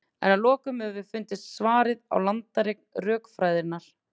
en að lokum höfum við fundið svarið á landareign rökfræðinnar